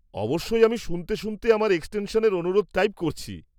অবশ্যই, আমি শুনতে শুনতে আমার এক্সটেনশনের অনুরোধ টাইপ করছি।